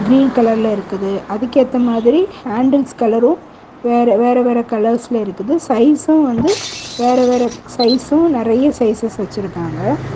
Green colour ல இருக்குது அதுக்கு எத்த மாதிரி ஹாண்ட்ல்ஸ் கலறும் வேற வேறவேற கலர்ஸ் ல இருக்குது சைசும் வந்து வேறவேற சைசும் நறைய சைசஸ் வச்சிருக்காங்க.